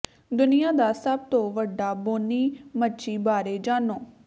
ਦੁਨੀਆ ਦਾ ਸਭ ਤੋਂ ਵੱਡਾ ਬੋਨੀ ਮੱਛੀ ਬਾਰੇ ਜਾਣੋ